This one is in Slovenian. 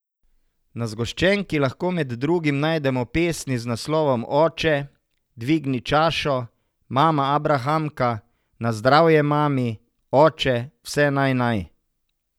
Na zgoščenki lahko med drugim najdemo pesmi z naslovom Oče, dvigni čašo, Mama abrahamka, Na zdravje mami, Oče, vse naj naj.